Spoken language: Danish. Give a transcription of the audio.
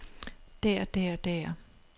der der der